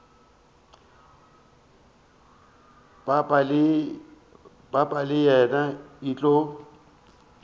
papa le yena e tlo